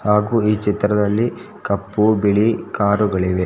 ಹಾಗು ಈ ಚಿತ್ರದಲ್ಲಿ ಕಪ್ಪು ಬಿಳಿ ಕಾರುಗಳಿವೆ .